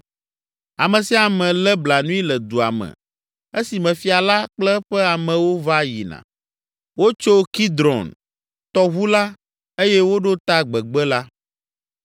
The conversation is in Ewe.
Ame sia ame lé blanui le dua me esime fia la kple eƒe amewo va yina. Wotso Kidron tɔʋu la eye woɖo ta gbegbe la.